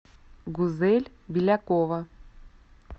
гузель белякова